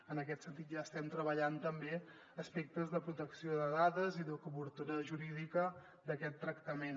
en aquest sentit ja estem treballant també aspectes de protecció de dades i de cobertura jurídica d’aquest tractament